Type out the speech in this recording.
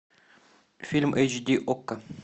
фильм эйч ди окко